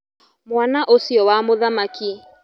Mwana ũcio wa mũthamaki.